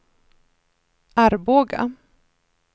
Arboga